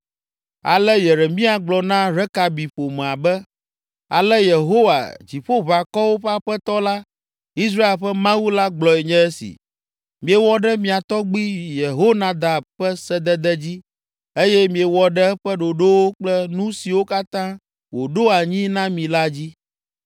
Ale Yeremia gblɔ na Rekabi ƒomea be, “Ale Yehowa, Dziƒoʋakɔwo ƒe Aƒetɔ la, Israel ƒe Mawu la gblɔe nye si, ‘Miewɔ ɖe mia tɔgbui Yehonadab ƒe sedede dzi eye miewɔ ɖe eƒe ɖoɖowo kple nu siwo katã wòɖo anyi na mi la dzi.’